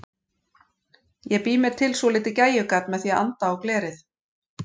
Ég bý mér til svolítið gægjugat með því að anda á glerið.